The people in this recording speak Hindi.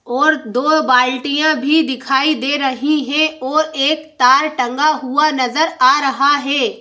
और दो बाल्टियां भी दिखाई दे रही है और एक तार टंगा हुआ नज़र आ रहा है।